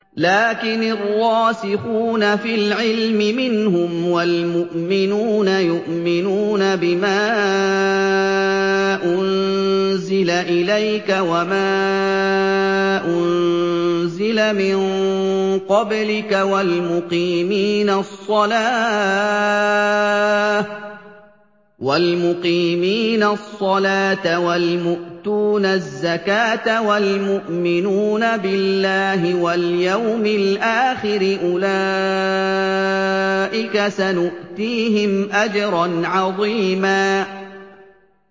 لَّٰكِنِ الرَّاسِخُونَ فِي الْعِلْمِ مِنْهُمْ وَالْمُؤْمِنُونَ يُؤْمِنُونَ بِمَا أُنزِلَ إِلَيْكَ وَمَا أُنزِلَ مِن قَبْلِكَ ۚ وَالْمُقِيمِينَ الصَّلَاةَ ۚ وَالْمُؤْتُونَ الزَّكَاةَ وَالْمُؤْمِنُونَ بِاللَّهِ وَالْيَوْمِ الْآخِرِ أُولَٰئِكَ سَنُؤْتِيهِمْ أَجْرًا عَظِيمًا